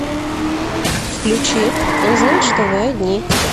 включи он знает что вы одни